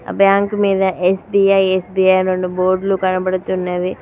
Bank మీద SBI SBI రెండు board లు కనబడుతున్నాయి.